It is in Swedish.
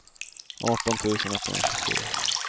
arton tusen etthundratjugosju